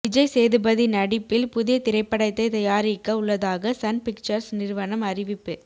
விஜய் சேதுபதி நடிப்பில் புதிய திரைப்படத்தை தயாரிக்க உள்ளதாக சன் பிக்சர்ஸ் நிறுவனம் அறிவிப்பு